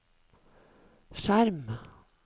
skjerm